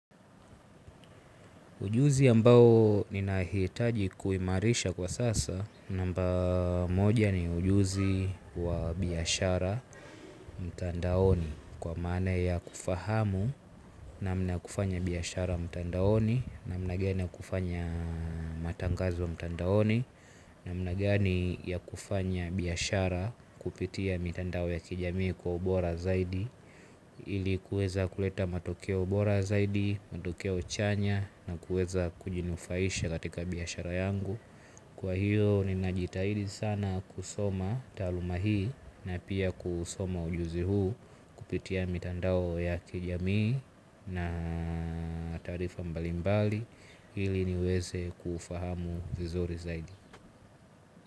Ujuzi ambao ninahitaji kuimarisha kwa sasa. Namba moja ni ujuzi wa biashara mtandaoni kwa maana ya kufahamu namna ya kufanya biashara mtandaoni. Namna gani ya kufanya matangazo mtandaoni. Namna gani ya kufanya biashara kupitia mitandao ya kijamii kwa ubora zaidi. Ili kuweza kuleta matokeo bora zaidi, matokeo chanya na kuweza kujinufaisha katika biashara yangu. Kwa hiyo ninajitahidi sana kusoma taaluma hii na pia kusoma ujuzi huu kupitia mitandao ya kijamii na taarifa mbalimbali ili niweze kufahamu vizuri zaidi.